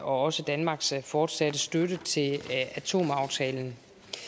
også danmarks fortsatte støtte til atomaftalen